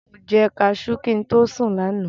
Mo jẹ kaṣú kí n tó sùn lánàá.